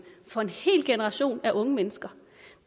for en hel generation af unge mennesker